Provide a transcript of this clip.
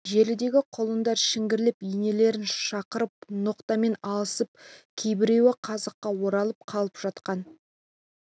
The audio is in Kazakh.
желідегі құлындар шіңгірлеп енелерін шақырып ноқтамен алысып кейбіреуі қазыққа оралып қалып жатқан